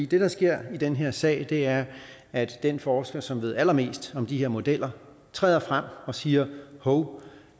det der sker i den her sag er at den forsker som ved allermest om de her modeller træder frem og siger hov